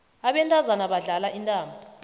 abantazana badlala intambo